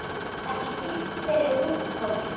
Ekki síst fyrir ungt fólk.